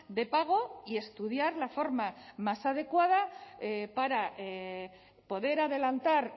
de pago y estudiar la forma más adecuada para poder adelantar